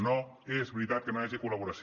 no és veritat que no hi hagi col·laboració